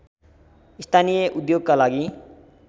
स्थानीय उद्योगका लागि